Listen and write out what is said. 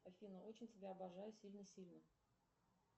афина очень тебя обожаю сильно сильно